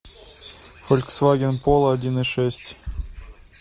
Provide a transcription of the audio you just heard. фольксваген поло один и шесть